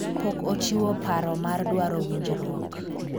pok ochiwo paro mar dwaro winjruok